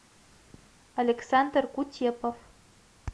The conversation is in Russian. александр кутепов